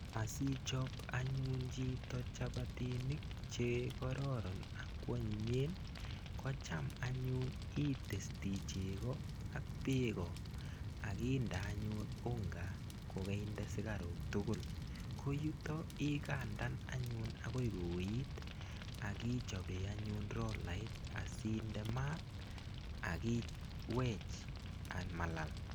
Asichop anyun chito chapatinik che kororon akwonyinyen ko cham anyun itesti cheko ak beko akinde anyun unga kokeinde sukarok tukul ko yuto ikandan anyun akoi kouit akichobe anyun rolait asinde maat akiwech an malal.